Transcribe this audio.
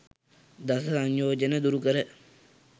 දස සංයෝජන දුරු කර